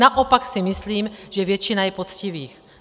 Naopak si myslím, že většina je poctivých.